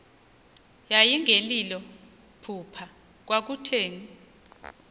yayingelilo phupha kwakutheni